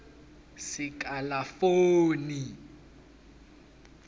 sekalafoni